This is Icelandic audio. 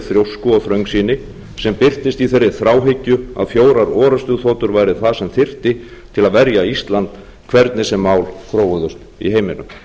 þrjósku og þröngsýni sem birtist í þeirri þráhyggju að fjórar orrustuþotur væru það sem þyrfti til að verja ísland hvernig sem mál þróuðust í heiminum